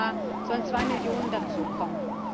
Und jedes Jahr sollen zwei Millionen dazu kommen.